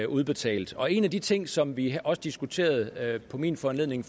udbetalt og en af de ting som vi også diskuterede på min foranledning